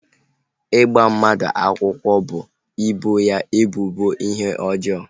Ịgba mmadụ akwụkwọ bụ ịbọ ya ebubo ihe ọjọọ